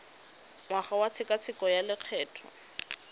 ngwaga wa tshekatsheko ya lokgetho